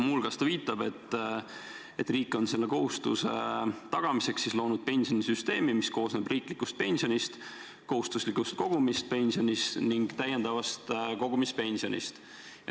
Muu hulgas viitab ta, et riik on selle kohustuse tagamiseks loonud pensionisüsteemi, mis koosneb riiklikust pensionist, kohustuslikust kogumispensionist ning täiendavast kogumispensionist.